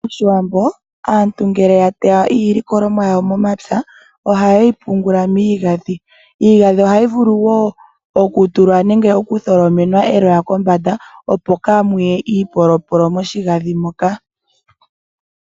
Moshiwambo aantu ngele ya teya iilikolwamo yawo momapya, ohaye yipungula miigadhi. Iigadhi ohayi vulu woo okutulwa nenge okutholomenwa eloya kombanda opo kaamu ye iipolopolo moshigadhi mo ka.